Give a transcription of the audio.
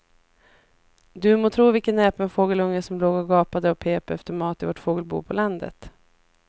Du må tro vilken näpen fågelunge som låg och gapade och pep efter mat i vårt fågelbo på landet.